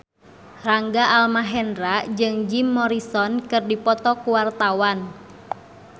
Rangga Almahendra jeung Jim Morrison keur dipoto ku wartawan